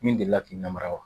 Min delila k'i namara wa